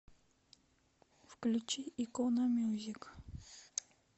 включи икономьюзик